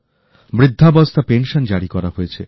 বৃদ্ধাবস্থা pension জারি করা হয়েছে